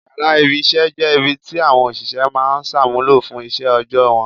Yàrá ibi-iṣẹ́ jẹ́ ibi ti àwọn òṣìṣẹ́ máa ń ṣàmúlò fún iṣẹ́ òòjọ́ wọn.